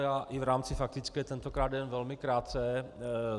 Já i v rámci faktické tentokrát jenom velmi krátce.